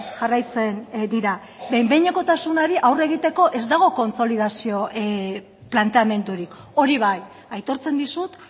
jarraitzen dira behin behinekotasunari aurre egiteko ez dago kontsolidazio planteamendurik hori bai aitortzen dizut